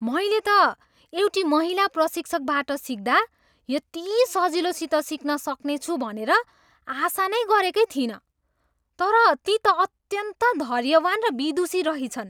मैले त एउटी महिला प्रशिक्षकबाट सिक्दा यति सजिलोसित सिक्न सकिनेछ भनेर आशा नै गरेकै थिइनँ तर ती त अत्यन्त धैर्यवान् र विदुषी रहिछन्।